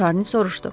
Şarni soruşdu.